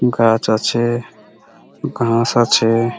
গাছ আছে ঘাস আছে।